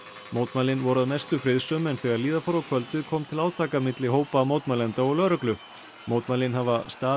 mótmælin voru að mestu friðsöm en þegar líða fór á kvöldið kom til átaka milli hópa mótmælenda og lögreglu mótmælin hafa staðið